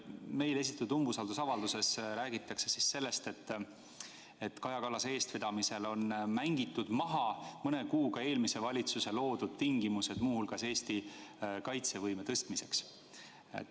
Meile esitatud umbusaldusavalduses räägitakse sellest, et Kaja Kallase eestvedamisel on mängitud mõne kuuga maha eelmise valitsuse loodud tingimused, muu hulgas Eesti kaitsevõime suurendamiseks.